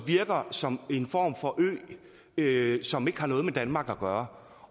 virker som en form for en ø som ikke har noget med danmark at gøre